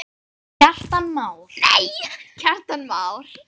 Kjartan Már.